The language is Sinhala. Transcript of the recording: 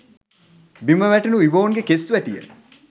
බිම වැටුණු ඉවෝන්ගේ කෙස් වැටිය